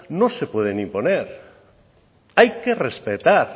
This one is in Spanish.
no se puede imponer hay que respetar